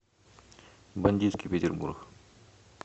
бандитский петербург